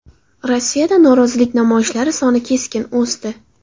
Rossiyada norozilik namoyishlari soni keskin o‘sdi.